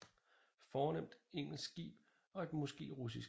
Fornemt engelsk skib og et måske russisk